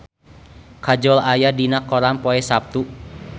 Kajol aya dina koran poe Saptu